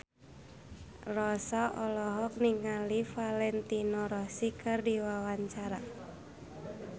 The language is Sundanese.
Rossa olohok ningali Valentino Rossi keur diwawancara